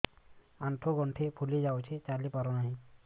ଆଂଠୁ ଗଂଠି ଫୁଲି ଯାଉଛି ଚାଲି ପାରୁ ନାହିଁ